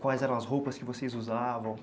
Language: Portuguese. Quais eram as roupas que vocês usavam?